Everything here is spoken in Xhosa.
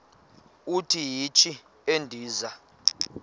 uthi yishi endiza